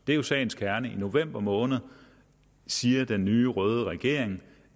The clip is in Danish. det er jo sagens kerne i november måned siger den nye røde regering